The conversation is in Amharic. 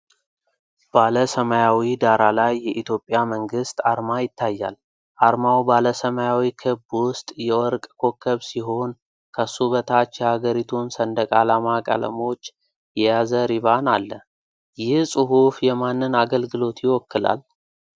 ባለ ሰማያዊ ዳራ ላይ የኢትዮጵያ መንግስት አርማ ይታያል። አርማው ባለ ሰማያዊ ክብ ውስጥ የወርቅ ኮከብ ሲሆን፣ ከሱ በታች የሀገሪቱን ሰንደቅ ዓላማ ቀለሞች የያዘ ሪባን አለ። ይህ ጽሑፍ የማንን አገልግሎት ይወክላል?